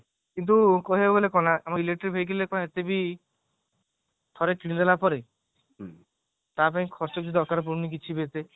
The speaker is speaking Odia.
କିନ୍ତୁ କହିବାକୁ ଗଲେ କଣ ନା ଆମ electric vehicleରେ କଣ ଏତେ ବି ଠାରେ କିଣିଦେଲା ପରେ ତାପାଇଁ ଖର୍ଚ୍ଚ ବି ଦରକାର ପଡୁଣି କିଛି ବି ଏତେ